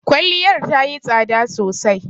Kwalliyar tayi tsada sosai.